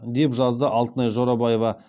деп жазды алтынай жорабаева